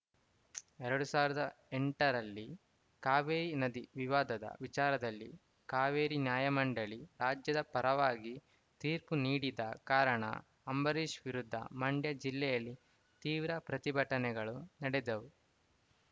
ಎರಡ್ ಸಾವಿರದ ಎಂಟರಲ್ಲಿ ಕಾವೇರಿ ನದಿ ವಿವಾದದ ವಿಚಾರದಲ್ಲಿ ಕಾವೇರಿ ನ್ಯಾಯಮಂಡಳಿ ರಾಜ್ಯದ ಪರವಾಗಿ ತೀರ್ಪು ನೀಡದ ಕಾರಣ ಅಂಬರೀಶ್‌ ವಿರುದ್ಧ ಮಂಡ್ಯ ಜಿಲ್ಲೆಯಲ್ಲಿ ತೀವ್ರ ಪ್ರತಿಭಟನೆಗಳು ನಡೆದವು